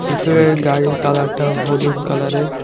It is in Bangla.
ভিতরের গাড়ির কালারটাও হলুদ কালারের ।